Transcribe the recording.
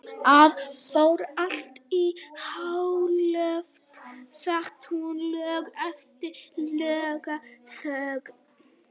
Það fór allt í háaloft, sagði hún loks eftir langa þögn.